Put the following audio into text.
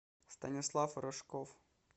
станислав рожков